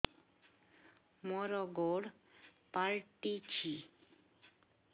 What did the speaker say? ମୋର ଗୋଡ଼ ପାଲଟିଛି